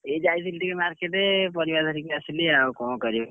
ଏଇ ଯାଇଥିଲି ଟିକେ market ପରିବା ଧରିକି ଆସିଲି, ଆଉ କଣ କରିବି?